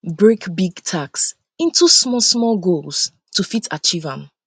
break big um task into small small goals to fit achieve am